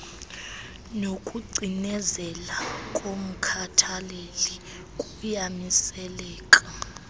nokucinezela komkhathaleli kuyamiseleka